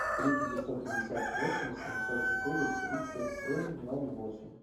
три девятьсот пятьдесят восемь семьсот четыре тридцать семь ноль восемь